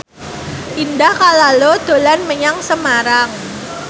Indah Kalalo dolan menyang Semarang